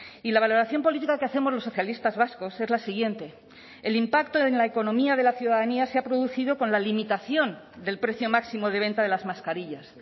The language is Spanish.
y la valoración política que hacemos los socialistas vascos es la siguiente el impacto en la economía de la ciudadanía se ha producido con la limitación del precio máximo de venta de las mascarillas